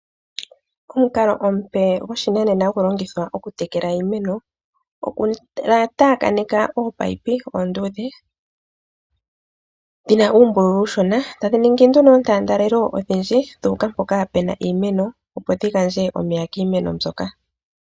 Omukalo omupe goshinanena hagu longithwa okutekela iimeno, okutaakaneka oopayipi oonduudhe dhi na uumbululu uushona, tadhi ningi nduno oontaandelelo odhindji dhu uka mpoka pu na iimeno, opo dhi gandje omeya kiimeno mbyoka.